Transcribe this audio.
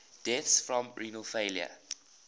deaths from renal failure